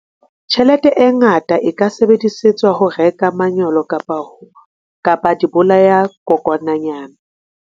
Tjhelete e ngata e ka sebedisetswa ho reka manyolo kapa dibolayakokwanyana.